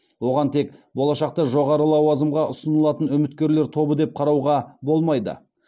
оған тек болашақта жоғары лауазымға ұсынылатын үміткерлер тобы деп қарауға болмайды